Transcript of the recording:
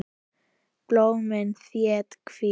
Blómin þétt, hvít.